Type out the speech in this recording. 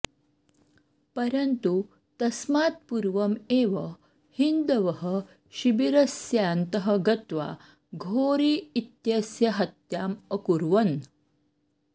परन्तु तस्मात् पूर्वम् एव हिन्दवः शिबिरस्यान्तः गत्वा घोरी इत्यस्य हत्याम् अकुर्वन्